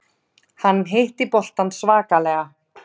Hann hitti boltann svakalega.